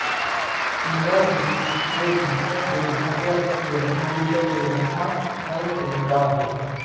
उमारविहीर हे भारतातील महाराष्ट्र राज्यातील यवतमाळ जिल्ह्यातील यवतमाळ तालुक्यातील एक गाव आहे